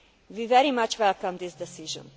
We very much welcome this decision.